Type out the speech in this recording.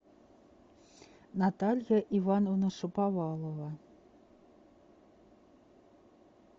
наталья ивановна шаповалова